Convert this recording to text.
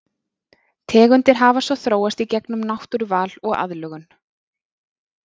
Tegundir hafa svo þróast í gegnum náttúruval og aðlögun.